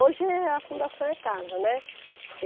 Hoje, eh a fundação é casa, né?